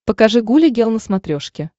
покажи гуля гел на смотрешке